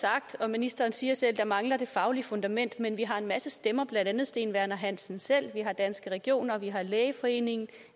ministeren siger selv at der mangler det faglige fundament men vi har en masse stemmer blandt andet steen werner hansen selv vi har danske regioner og vi har lægeforeningen